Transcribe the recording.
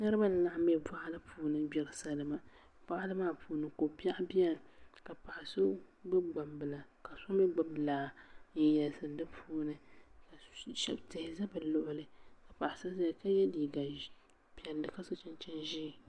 Niraba n laɣam bɛ boɣali puuni n gbiri salima boɣali maa puuni ko biɛɣu biɛni ka paɣa so gbubi gbambila ka so mii gbubi laa n yɛlisiri di puuni ka tihi ʒɛ bi luɣuli paɣa so ʒɛya ka yɛ liiga piɛlli ka so chinchin ʒiɛ